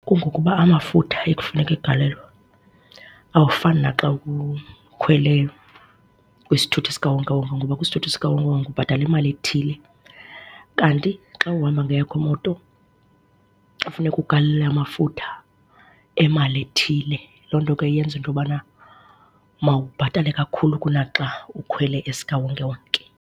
Kungokuba amafutha ekufuneka egalelwe awafani naxa ukhwele kwisithuthi sikawonkewonke ngoba kwisithuthi sikawonkewonke ubhatala imali ethile. Kanti xa uhamba ngeyakho imoto funeka ugalela amafutha emali ethile. Loo nto ke yenza into yobana mawubhatale kakhulu kunaxa ukhwele esikawonkewonke.